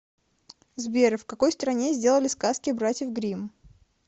сбер в какой стране сделали сказки братьев гримм